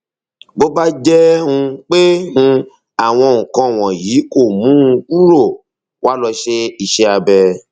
bó bá jẹ um pé um àwọn nǹkan wọnyí kò mú un kúrò wá lọ ṣe iṣẹ abẹ